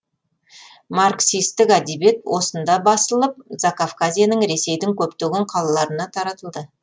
марксистік әдебиет осында басылып закавказьенің ресейдің көптеген қаларына таратылды